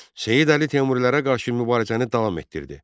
Seyid Əli Teymurilərə qarşı mübarizəni davam etdirdi.